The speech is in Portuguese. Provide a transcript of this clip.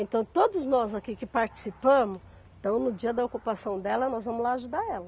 Então, todos nós aqui que participamos, então no dia da ocupação dela, nós vamos lá ajudar ela.